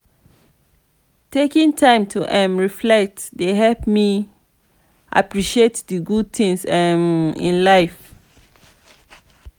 taking time to um reflect dey help me appreciate the good things um in life.